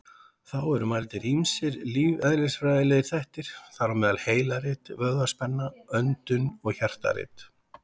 Þá eru mældir ýmsir lífeðlisfræðilegir þættir, þar á meðal heilarit, vöðvaspenna, öndun og hjartarit.